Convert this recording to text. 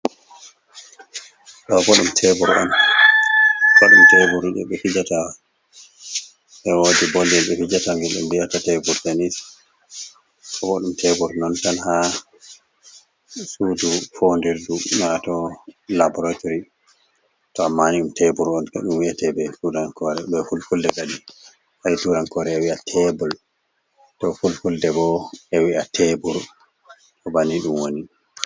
Ɗo boum tebronoumteburbe hijata ewoji bolli be hijata ngildum bi'ata tebur tenisa bo boɗɗum tebur non tan ha sudu fondirdu nato laboratory to ammani dum teburu onɗum wiytebe sudaorebe kulkulde badi haisudankore e wi'a tebol do kulkulde bo be wi'a tebur do bani dum woni.